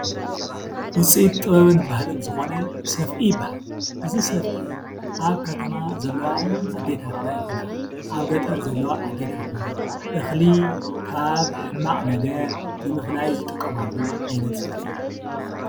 ውፅኢት ጥበብን ባህልን ዝኾነ ሰፍኢ ይበሃል፡፡ እዚ ሰፍኢ ኣብ ከተማ ዘለዋ ኣዴታትና ይኹና፣ ኣብ ገጠር ዘለዋ ኣዴታትና እኽሊ ካብ ሕማቕ ነገር ንምፍላይ ዝጥቀማሉ ዓይነት ሰፍኢ እዩ፡፡